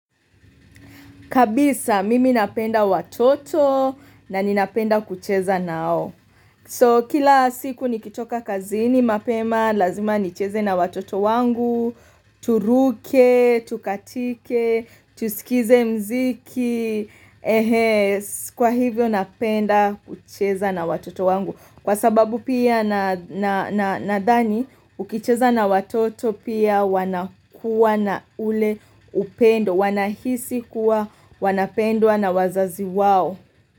Kabisa mimi napenda watoto na ninapenda kucheza nao. So kila siku nikitoka kazini mapema, lazima nicheze na watoto wangu, turuke, tukatike, tusikize mziki, kwa hivyo napenda kucheza na watoto wangu. Kwa sababu pia nathani ukicheza na watoto pia wanakua na ule upendo wanahisi kuwa wanapendwa na wazazi wao.